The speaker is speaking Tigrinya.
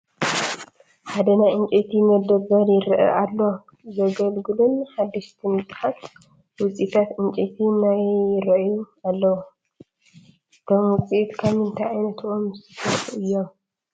ሓደ ናይ ዕንጨይቲ መደብር ይረአ ኣሎ፡፡ ዘገልገሉን ሓደሽትን ብዙሓት ውፅኢታት ዕንጨይቲ ይ ራኣዩ ኣለው፡፡ እቶም ውፅኢት ካብ ምንታይ ዓይነት ኦም ዝተሰርሑ እዮም?